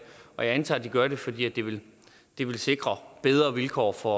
antager at de gør det fordi det vil det vil sikre bedre vilkår for